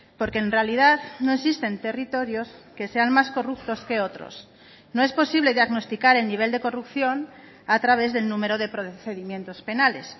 porque en realidad no existen territorios que sean más corruptos que otros no es posible diagnosticar el nivel de corrupción a través del número de procedimientos penales